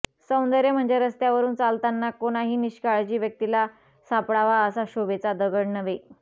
सौंदर्य म्हणजे रस्त्यावरून चालताना कोणाही निष्काळजी व्यक्तीला सापडावा असा शोभेचा दगड नव्हे